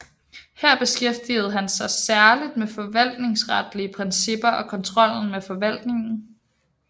Her beskæftigede han sig særligt med forvaltningsretlige principper og kontrollen med forvaltningen